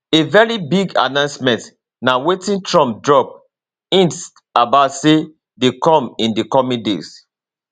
a very big announcementna wetin trump drop hint about say dey come in di coming days